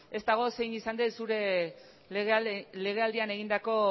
ez dago zein izan den zure legealdian egindako